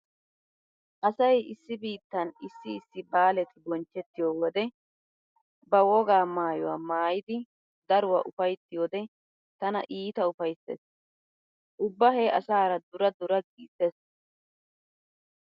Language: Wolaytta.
Asay issi biittan issi issi baaleti bonchchettiyo wode ba wogaa maayuwa maayidi daruwa ufayttiyode tana iita ufayssees. Ubba he asaara dura dura giissees.